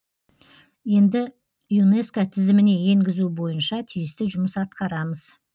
енді юнеско тізіміне енгізу бойынша тиісті жұмыс атқарамыз